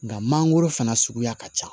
Nga mangoro fana suguya ka ca